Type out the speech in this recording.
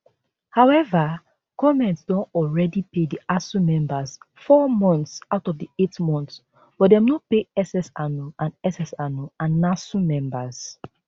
however goment don already pay di asuu members four months out of di eight months but dem no pay ssanu and ssanu and nasu members